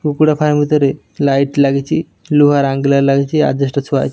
କୁକୁଡ଼ା ଫାର୍ମ ଭିତରେ ଲାଇଟ ଲାଗିଚି ଲୁହା ର ଲାଗିଚି ଆଜେଷ୍ଟ ଥୁଆ ହେଇଚି।